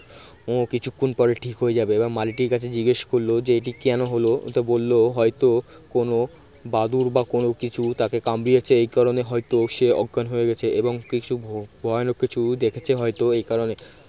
ও কিছুক্ষণ পরে ঠিক হয়ে যাবে এবং মালিটির কাছে জিজ্ঞেস করল যে এটি কেন হল তো বলল হয়তো কোন বাদুর বা কোন কিছু তাকে কামড়িয়েছে এই কারণে হয়তো সে অজ্ঞান হয়ে গেছে এবং কিছু ভয়ানক কিছু দেখেছে হয়তো এই কারণে